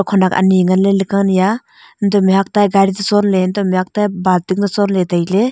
khenek ani ngan ley laka ni a antoh mihhok ta a gari toh chongle antoh mihhok ta a banting toh chong le tailey.